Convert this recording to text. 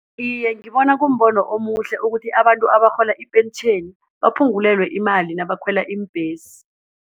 Iye, ngibona kumbono omuhle ukuthi abantu abarhola ipentjheni baphungulelwe imali nabakhwela iimbhesi.